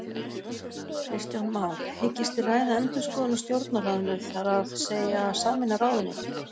Kristján Már: Hyggist þið ræða endurskoðun á Stjórnarráðinu, þar að segja sameina ráðuneyti?